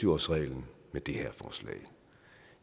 årsreglen med det her forslag